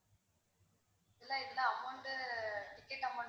இந்த amount to ticket amount ல